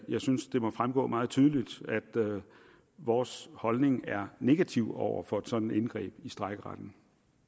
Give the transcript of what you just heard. jeg synes det må fremgå meget tydeligt at vores holdning er negativ over for et sådant indgreb i strejkeretten